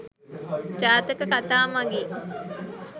ජාතක කතා මඟින්